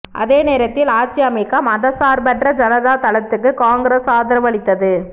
அதே நேரத்தில் ஆட்சி அமைக்க மதச்சார்பற்ற ஜனதா தளத்துக்கு காங்கிரஸ் ஆதரவு அளித்தது